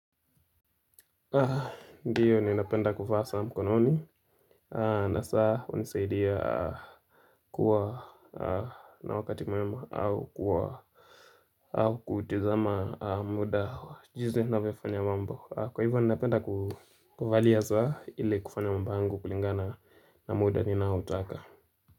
Ndiyo ninapenda kuvaa saa mkononi. Na saa hunisaidia kuwa na wakati mwema au kuwa au kutazama muda jinsi niavyofanya mambo kwa hivyo ninapenda kuvalia saa ili kufanya mambo yangu kulingana na muda ninaotaka.